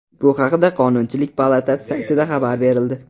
Bu haqda Qonunchilik palatasi saytida xabar berildi .